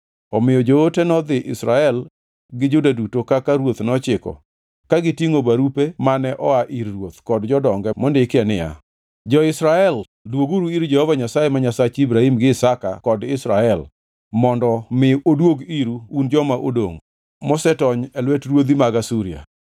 Omiyo joote nodhi Israel gi Juda duto kaka ruoth nochiko ka gitingʼo barupe mane oa ir ruoth kod jodonge mondikie niya, “Jo-Israel dwoguru ir Jehova Nyasaye ma Nyasach Ibrahim gi Isaka kod Israel mondo mi oduog iru un joma odongʼ mosetony e lwet ruodhi mag Asuria.